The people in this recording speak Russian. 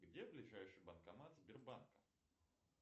где ближайший банкомат сбербанка